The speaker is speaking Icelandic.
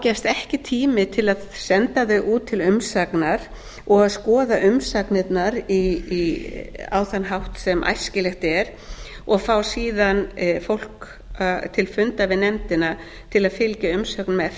gefst ekki tími til að senda þau út til umsagnar og skoða umsagnirnar á þann hátt sem æskilegt er og fá síðan fólk til fundar við nefndina til að fylgja umsögnum